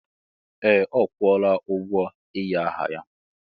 Ee! Ọ kwụọla ụgwọ ịnye aha ya.